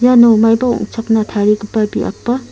iano maiba ong·chakna tarigipa biap ba--